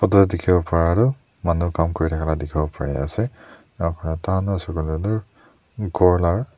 ute dekhi bo pare tu manu kaam kora dekhi bore pari ase ap khanta na suba lalu gor laga.